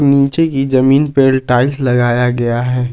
नीचे की जमीन पर टाइल्स लगाया गया है।